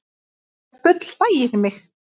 Þetta bull hlægir mig